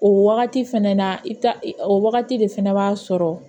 O wagati fɛnɛ na i bi taa o wagati de fɛnɛ b'a sɔrɔ